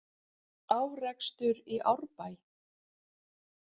Árekstur í Árbæ